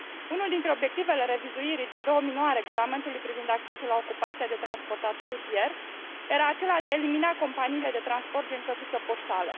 Unul dintre obiectivele revizuirii din 2009 a Regulamentului privind accesul la ocupația de transportator rutier era acela de a elimina companiile de transport gen căsuță poștală.